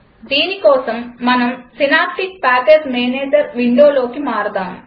దీనికోసం మనం synaptic package manager విండోకి మారదాం